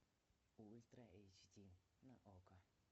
ультра эйч ди на окко